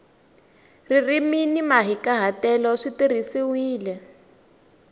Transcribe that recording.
ririmi ni mahikahatelo swi tirhisiwile